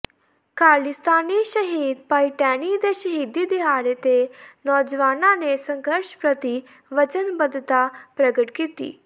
ਖਾਲਿਸਤਾਨੀ ਸ਼ਹੀਦ ਭਾਈ ਟੈਣੀ ਦੇ ਸ਼ਹੀਦੀ ਦਿਹਾੜੇ ਤੇ ਨੋਜਵਾਨਾਂ ਨੇ ਸੰਘਰਸ਼ ਪ੍ਰਤੀ ਵਚਨਬੱਧਤਾ ਪ੍ਰਗਟ ਕੀਤੀ